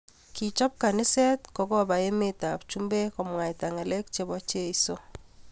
Kichop kaniset kokopa emet ab chumbek komwaita ngalek che bo Cheso